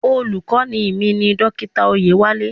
Olùkọ́ni mi ni Dókítà Oyewale.